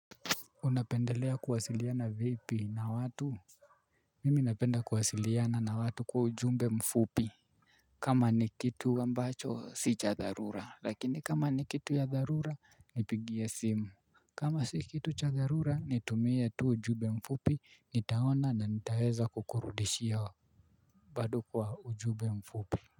Unapendelea kuwasiliana vipi na watu? Mimi napenda kuwasiliana na watu kwa ujumbe mfupi. Kama ni kitu ambacho si cha dharura lakini kama ni kitu ya dharura nipigie simu. Kama si kitu cha dharura nitumie tu ujumbe mfupi nitaona na nitaweza kukurudishia. Bado kwa ujumbe mfupi.